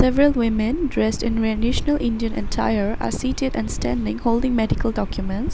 Several woman dressed in national indian attire are seated and standing holding medical documents.